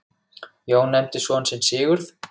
Jón nefndi son sinn Sigurð.